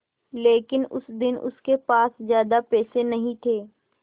लेकिन उस दिन उसके पास ज्यादा पैसे नहीं थे